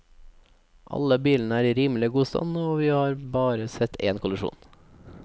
Alle bilene er i rimelig god stand og vi har bare sett en kollisjon.